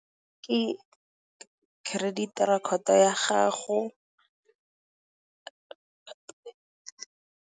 Ke credit record ya gago.